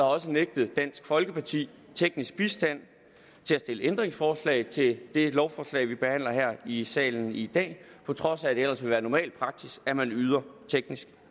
også nægtet dansk folkeparti teknisk bistand til at stille ændringsforslag til det lovforslag vi behandler her i salen i dag på trods af at det ellers vil være normal praksis at man yder teknisk